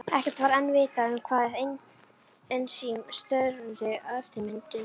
Ekkert var enn vitað um hvaða ensím störfuðu að eftirmynduninni.